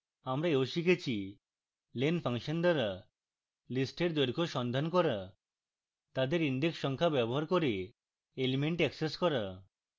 আমরা ও শিখেছি